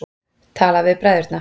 Talaðu við bræðurna.